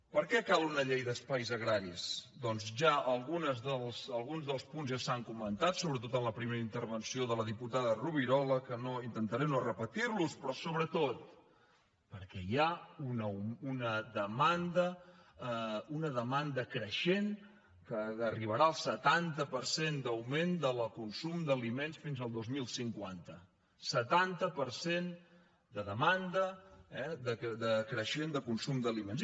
per què cal una llei d’espais agraris doncs alguns dels punts ja s’han comentat sobretot en la primera intervenció de la diputada rovirola que intentaré no repetir los però sobretot perquè hi ha una demanda creixent que arribarà al setanta per cent d’augment del consum d’aliments fins al dos mil cinquanta setanta per cent de demanda creixent de consum d’aliments